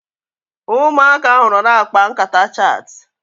Ụmụaka ahu nọ na-akpa nkata chit